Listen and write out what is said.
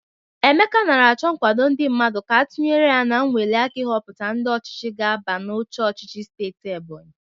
Emeka nara achọ nkwado ndị mmadụ ka a tunyere ya n'nweliaka ihọpụta ndị ọchịchị ga-aba n'oche ọchịchị steeti Ebonyi.